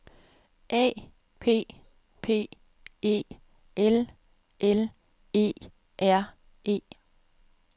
A P P E L L E R E